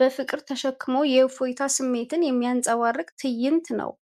በፍቅር ተሸክሞ የእፎይታ ስሜትን የሚያንጸባርቅ ትዕይንት ነው።